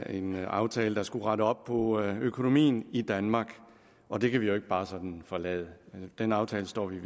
en aftale der skulle rette op på økonomien i danmark og det kan vi ikke bare sådan forlade så den aftale står vi